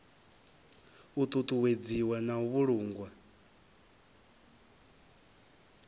u ṱuṱuwedziwa na u vhulungwa